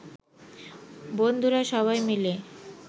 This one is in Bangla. বন্ধুরা সবাই মিলে